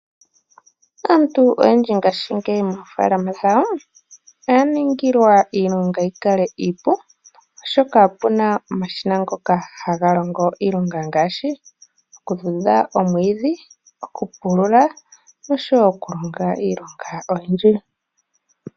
Aantu oyendji ngashingeyi mofalama dhawo oya ningilwa iilonga yi kale iipu oshoka opuna omashina ngoka haga longo iilonga ngashi oku dhudha omwidhi, oku pulula noshowo oku longa iilonga oyindji.